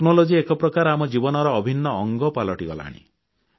ପ୍ରଯୁକ୍ତି ବିଦ୍ୟା ଏକ ପ୍ରକାର ଆମ ଜୀବନର ଅଭିନ୍ନ ଅଙ୍ଗ ପାଲଟିଗଲାଣି